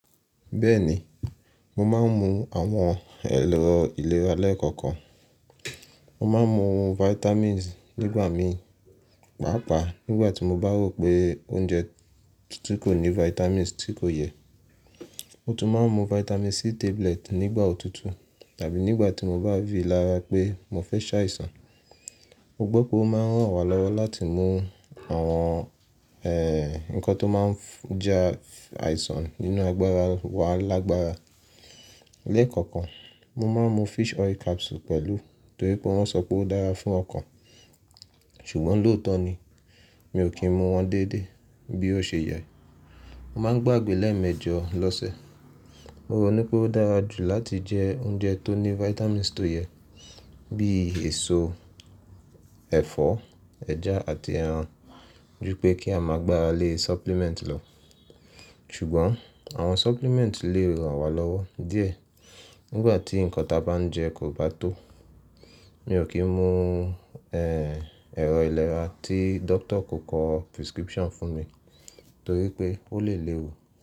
Bẹ́ẹ̀ni, mo máa ń mu àwọn ẹ̀rọ ìlera lẹ́ẹ̀kọ̀kan. Mo máa ń mu vitamins nígbà mi pàápàá nígbà tí mo bá rò pé oúnjẹ tí kò ní vitamins tí kò yẹ. Mo tún máa ń mu vitamin C tablet nígbà òtútù tàbí nígbà tí mo bá rí lára pé mo fẹ́ ṣàìsàn. Mo gbọ́ pé ó máa ń ràn wá lọ́wọ́ láti mú àwọn eh nǹkan tó máa ń ja àìsàn nínú agbára wa lágbára. Lẹ́ẹ̀kọ̀kan, mo máa ń mu fish oil capsule pẹ̀lú torí pé wọ́n sọ pé ó dára fún ọkàn. Ṣùgbọ́n lóòótọ́ ni, mi ò kí ń mu wọn déédé bí ó ṣe yẹ. Mo máa ń gbàgbé lẹ́ẹ̀mẹjọ lọ́sẹ̀. Mo rò ní pé ó dára jù láti jẹ oúnjẹ tó ní vitamins tó yẹ bí èso, ẹ̀fọ́, ẹja àti ẹran ju pé kí a máa gbára lé supplement lọ. Ṣùgbọ́n àwọn supplement lè ràn wá lọ́wọ́ díẹ̀ nígbà tí nǹkan tí a bá ń jẹ kò bá tó. Mi ò kí ń mu eh ẹ̀rọ ìlera tí doctor kò kọ prescription fún mi torí pé ó lè léwu.